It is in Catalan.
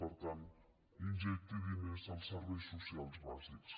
per tant injecti diners als serveis socials bàsics